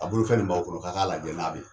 A bolo fɛn nin b'aw kɔrɔ k'a' k'a lajɛ n'a be ye.